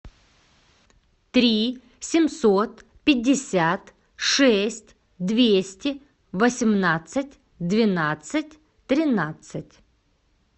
три семьсот пятьдесят шесть двести восемнадцать двенадцать тринадцать